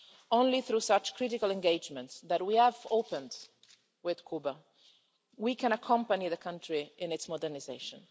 Only through such critical engagement that we have opened with Cuba can we accompany the country in its modernisation.